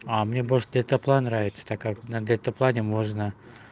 а мне больше дельтаплан нравится так как на дельтаплане можно